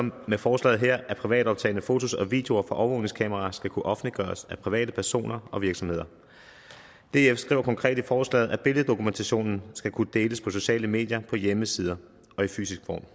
med forslaget her at privatoptagne fotos og videoer fra overvågningskameraer skal kunne offentliggøres af privatpersoner og virksomheder df skriver konkret i forslaget at billeddokumentationen skal kunne deles på sociale medier på hjemmesider og i fysisk form